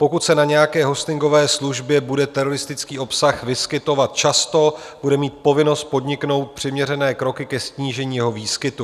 Pokud se na nějaké hostingové službě bude teroristický obsah vyskytovat často, bude mít povinnost podniknout přiměřené kroky ke snížení jeho výskytu.